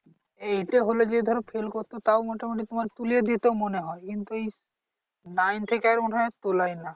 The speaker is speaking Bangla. এ তে হলে যে ধর fail করতো তাও মোটামুটি তোমার তুলে দিতো মনে হয় কিন্তু এই nine থেকে মনে হয় তোলায় না।